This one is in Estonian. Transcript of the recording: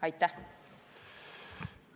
Aitäh!